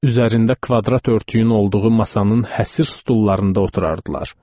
Üzərində kvadrat örtüyün olduğu masanın həsər stullarında oturardılar.